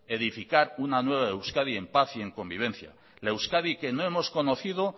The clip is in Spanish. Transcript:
edificar una nueva euskadi en paz y en convivencia la euskadi que no hemos conocido